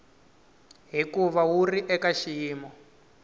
hikuva wu ri eka xiyimo